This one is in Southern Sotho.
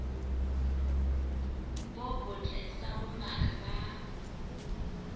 bo botle sa bongaka ba